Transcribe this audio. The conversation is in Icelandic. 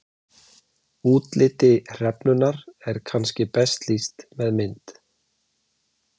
Útliti hrefnunnar er kannski best lýst með mynd.